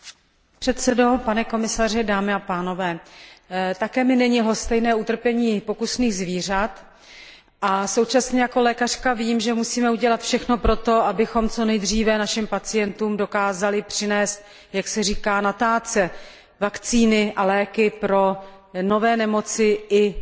Vážený pane předsedo, pane komisaři, dámy a pánové, také mi není lhostejné utrpení pokusných zvířat a současně jako lékařka vím, že musíme udělat všechno proto, abychom co nejdříve našim pacientům dokázali přinést jak se říká na tácu vakcíny a léky pro nové nemoci i